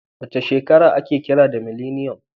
Wace shekara aka kira mileniyan?